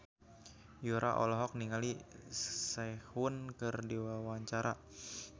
Yura olohok ningali Sehun keur diwawancara